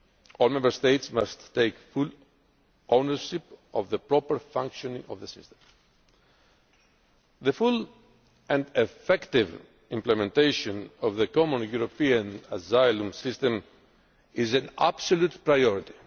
All Member States must take full ownership of the proper functioning of the system. The full and effective implementation of the Common European Asylum System is an absolute priority.